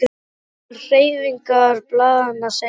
Jafnvel hreyfingar blaðanna segja sína sögu.